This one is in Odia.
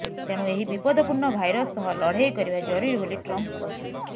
ତେଣୁ ଏହି ବିପଦପୂର୍ଣ୍ଣ ଭାଇରସ ସହ ଲଢ଼େଇ କରିବା ଜରୁରୀ ବୋଲି ଟ୍ରମ୍ପ କହିଛନ୍ତି